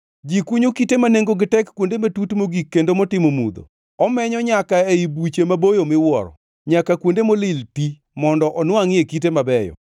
Ji kunyo kite ma nengogi tek kuonde matut mogik kendo motimo mudho, omenyo nyaka ei buche maboyo miwuoro, nyaka kuonde molil ti, mondo onwangʼie kite mabeyo.